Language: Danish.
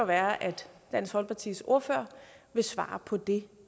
være at dansk folkepartis ordfører vil svare på det